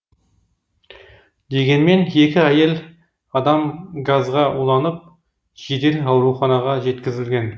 дегенмен екі әйел адам газға уланып жедел ауруханаға жеткізілген